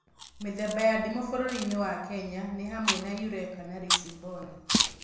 Mĩthemba ya ndimũ bũrũri-inĩ wa Kenya nĩ hamwe na yureka na risimboni